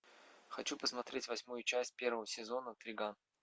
хочу посмотреть восьмую часть первого сезона триган